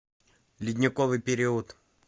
ледниковый период